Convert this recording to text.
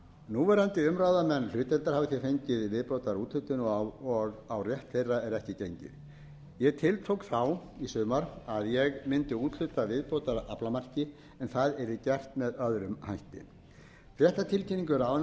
núverandi umráðamenn hlutdeildar hafa því fengið viðbótarúthlutun og á rétt þeirra er ekki gengið ég tiltók þá í sumar að ég mundi úthluta viðbótaraflamarki en það yrði gert með öðrum hætti í fréttatilkynningu ráðuneytisins dagsett